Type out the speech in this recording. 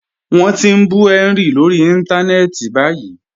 Wọn ti n bú Henry lórí ìntánẹ̀ẹ̀tì báyìí.